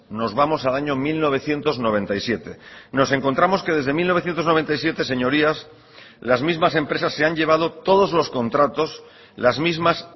nos vamos al año mil novecientos noventa y siete nos encontramos que desde mil novecientos noventa y siete señorías las mismas empresas se han llevado todos los contratos las mismas